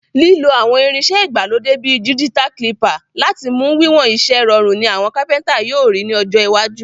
Lílo àwon irinsẹ́ ìgbàlódé bi digital caliper láti mu wiwon isẹ́ rorùn ni àwon carpenter yio ri ni ọjọ́ iwájú.